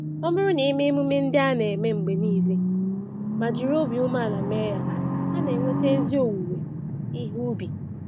Ọbụrụ na eme emume ndị a na-eme mgbe niile ma jiri obi umeala mee ya, ana enweta ezi owuwe ihe ubi